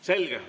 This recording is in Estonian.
Selge.